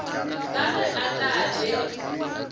ka ge a tla be